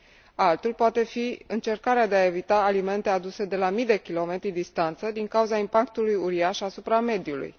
Altul poate fi încercarea de a evita alimente aduse de la mii de kilometri distanță din cauza impactului uriaș asupra mediului.